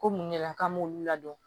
Ko mun de la k'an m'olu ladɔn